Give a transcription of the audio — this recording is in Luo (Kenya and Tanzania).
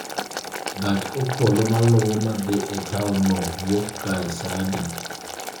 gach okolomaluwo ma dhi e taonno wuok kae saa adi?